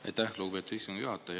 Aitäh, lugupeetud istungi juhataja!